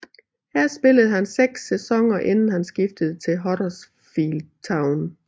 Her spillede han seks sæsoner inden han skiftede til Huddersfield Town